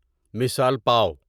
مثال پاو